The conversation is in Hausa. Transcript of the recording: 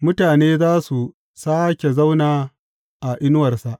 Mutane za su sāke zauna a inuwarsa.